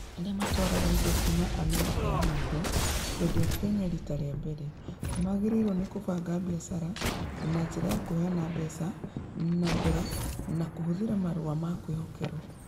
Arĩa matwaraga indo kuuma Amerika ya mũhuro kũendia Kenya riita rĩa mbere, nĩ magĩrĩirwo nĩ kũbanga biacara na njĩra ya kũheana mbeca na mbere kana kũhũthĩra marũa ma kwĩhokerwo.